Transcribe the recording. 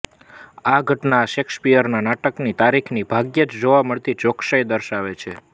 આ ઘટના શેક્સપીયરના નાટકની તારીખની ભાગ્યે જ જોવા મળતી ચોકસાઈ દર્શાવે છે